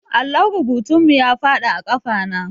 Allon rubutun mu ya faɗi a ƙafa na